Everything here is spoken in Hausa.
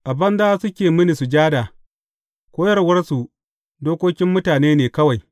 A banza suke mini sujada, koyarwarsu, dokokin mutane ne kawai.’